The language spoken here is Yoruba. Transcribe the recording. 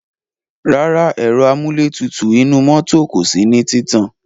Rárá, ẹ̀ro amúlétutù inú mọ́tò kò sí ní títàn.